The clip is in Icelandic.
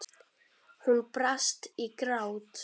Hún brast í grát.